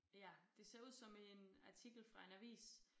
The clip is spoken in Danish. Ja det ser ud som en artikel fra en avis